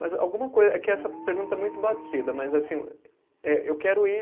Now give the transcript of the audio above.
Mas alguma coisa, é que essa pergunta é muito batida, mas assim, eh eu quero ir